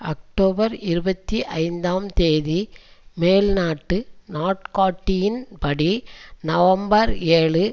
October இருபத்தி ஐந்தாம் தேதி மேல்நாட்டு நாட்காட்டியின்படி நவம்பர் ஏழு